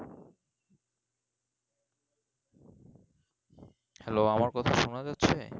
hello আমার কথা শুনা যাচ্ছে?